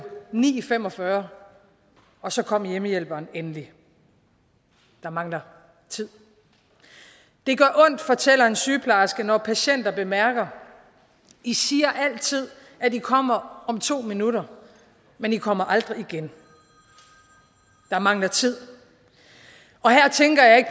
ni fem og fyrre og så kom hjemmehjælperen endelig der mangler tid det gør ondt fortæller en sygeplejerske når patienter bemærker i siger altid at i kommer om to minutter men i kommer aldrig igen der mangler tid